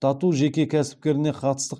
тату жеке кәсіпкеріне қатысты